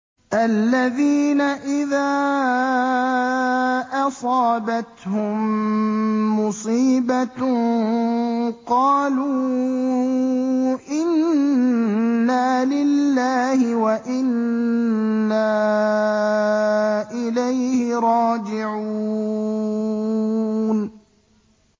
الَّذِينَ إِذَا أَصَابَتْهُم مُّصِيبَةٌ قَالُوا إِنَّا لِلَّهِ وَإِنَّا إِلَيْهِ رَاجِعُونَ